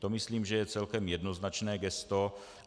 To myslím, že je celkem jednoznačné gesto.